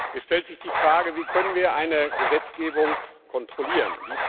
Es stellt sich die Frage Wie können wir eine Gesetzgebung kontrollieren?